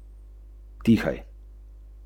Dobro sem nastavila zavoje in lahko spustila smuči.